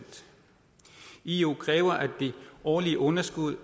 eu kræver at det årlige underskud